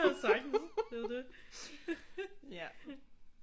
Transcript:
Ja sagtens det er jo det